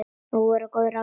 Nú voru góð ráð dýr!